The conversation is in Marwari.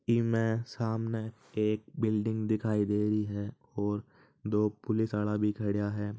इस में सामने एक बिल्डिग दिखाई दे रही है और दो पुलिस वाला भी खड़ा है।